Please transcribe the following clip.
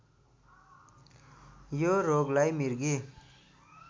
यो रोगलाई मृगी